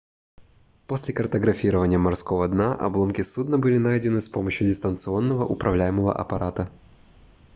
после картографирования морского дна обломки судна были найдены с помощью дистанционно управляемого аппарата